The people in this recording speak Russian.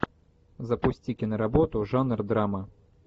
запусти киноработу жанр драма